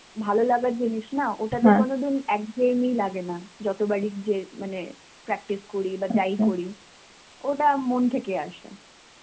ভালো লাগার জিনিস না. ওটাতে কোনদিন এক্ঘেইমি লাগেনা. যতবারই যে~ মানে practice করি বা যেই করি ওটা মন থেকে আসে.